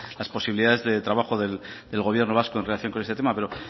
las posibilidades de trabajo del gobierno vasco en relación con este tema pero